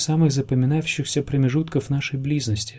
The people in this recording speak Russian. самый запоминающийся промежутков наши близости